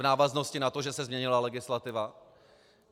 V návaznosti na to, že se změnila legislativa.